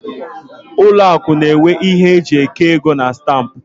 Ụlọ akụ n'enwe ihe eji eke ego na stampụ